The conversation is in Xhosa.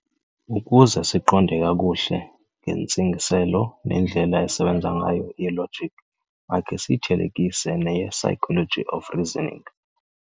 Ukuze siqonde kakuhle ngentsingiselo nendlela esebenza ngayo i-logic, makhe siyithelekise "neye-psychology of reasoning".